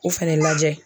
O fɛnɛ lajɛ